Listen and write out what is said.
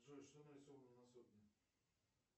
джой что нарисовано на сотне